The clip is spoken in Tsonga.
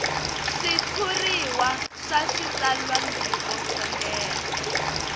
switshuriwa swa switsalwambiko swo leha